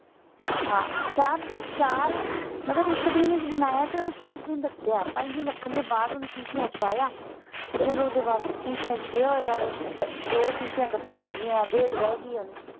ਹਾਂ ਚਾਰ ਚਾਰ ਮਤਲਬ ਇਕ ਦਿਨ ਚ ਬਣਾਇਆ ਤੇ ਓਹਨੂੰ ਪੰਜ ਦਿਨ ਰੱਖਿਆ। ਪੰਜ ਦਿਨ ਰੱਖਣ ਦੇ ਬਾਅਦ ਓਹਨੂੰ ਸ਼ੀਸ਼ਿਆਂ ਚ ਪਾਇਆ। ਤੇ ਫੇਰ ਓਹਦੇ ਬਾਅਦ ਸ਼ੀਸ਼ਿਆਂ ਚ ਪਿਆ ਹੋਇਆ ਵੇ । ਦੋ ਸ਼ੀਸ਼ਿਆਂ ਖ਼ਤਮ ਹੋ ਗਈਆਂ ਡੇਢ ਰਹਿ ਗਈ ਹੁਣ।